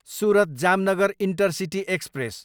Surat, Jamnagar intercity express